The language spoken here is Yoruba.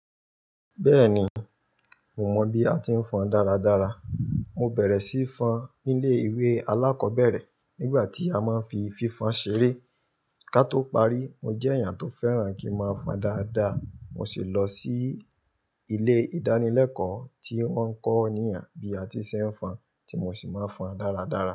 Bẹ́ẹ̀ni, mo mọ bí a ti ń fọn dáradára. Mo bẹ̀rẹ̀ síí fọn nílé ìwé alákọ̀ọ́bẹ̀rẹ̀ nígbà tí a máa ń fi fífan ṣeré. Ká tó parí, mo jẹ́ èèyàn tó fẹ́ràn kí n máa fọn dáadáa. Mo sì lọ sí ilé ìdánilẹ́kọ̀ọ́ tí wọ́n ń kọ́niyan bí a ti ṣe fọn tí mo sì máa ń fọn dáradára.